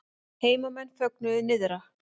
Heimamenn fögnuðu nyrðra